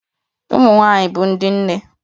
Ụmụ nwanyị bụ ndị nne